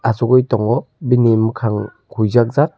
asugoi tango bini mokang huojak jak.